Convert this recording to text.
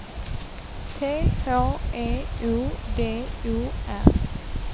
T H E O D O R